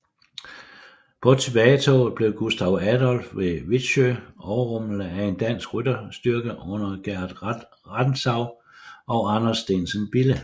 På tilbagetoget blev Gustav Adolf ved Wittsjö overrumplet af en dansk rytterstyrke under Gerd Rantzau og Anders Steensen Bille